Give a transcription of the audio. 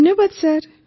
ଧନ୍ୟବାଦ ସାର୍